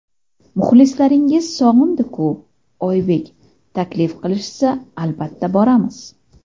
Muxlislaringiz sog‘indi-ku... Oybek: Taklif qilishsa, albatta, boramiz.